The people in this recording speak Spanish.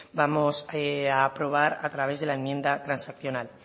vamos a aprobar a través de la enmienda transaccional